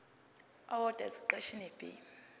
owodwa esiqeshini b